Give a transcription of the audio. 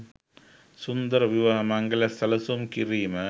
සුන්දර විවාහ මංගල්‍යයක් සැලසුම් කිරීම